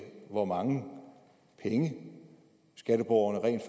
hvor mange penge skatteborgerne rent